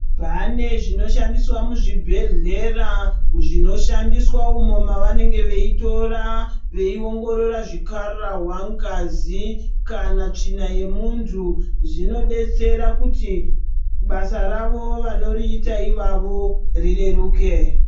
Pane zvinoshandiswa muzvibhedhlera zvinoshandiswa umo mavanenge veitora veiongorora zvikhararwa, ngazi kana tsvina yemunthu zvinobetsera kuti basa ravo vanoriita ivavo rireruke.